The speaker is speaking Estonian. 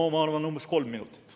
No ma arvan, et umbes kolm minutit.